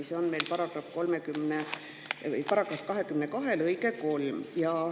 Siin on § 22 lõige 3.